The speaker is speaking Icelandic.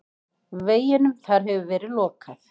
Veginum þar hefur verið lokað.